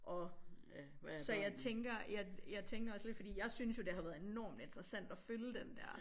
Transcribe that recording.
Og så jeg tænker jeg tænker også lidt fordi jeg synes jo det har været enormt interessant at følge den dér